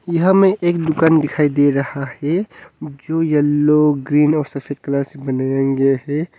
यहां में एक दुकान दिखाई दे रहा है जो येलो ग्रीन और सफेद कलर से बनाया गया है।